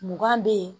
Mugan bɛ yen